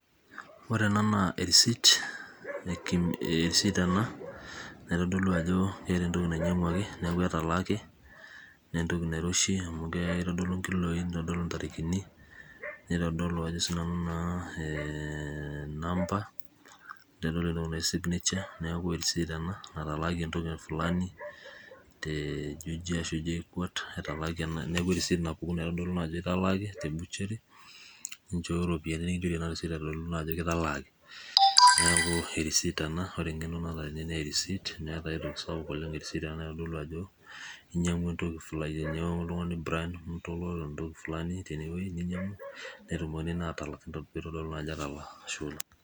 Ore enaa naa erisit ee erisit ena naitodolu ajo keeta entoki nainyangwaki neaku keeta entoki natalaaki na entoki nairoshi amu kitodolu nkiloi nitadolu ntarikini naitodolu sii ajo nanu aaaaaaa number neitadolu signature neaku erisit entoki fulani te juja arashu jkuat etalaaki ena neaku erisit napuk aitaduaki ajo etalaaki nichooyo ropiyiani nikichori ena aitaduaya ajo kitalaaki neaku erist ena na ore erisit na entoki sapuk naitodolu ajo inyangua entoki fulani neitumokini atalak amu inyangua entoki fulani, ashe oleng.